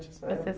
essa época? Vocês